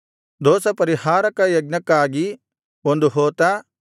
ದೋಷಪರಿಹಾರಕ ಯಜ್ಞಕ್ಕಾಗಿ ಒಂದು ಹೋತ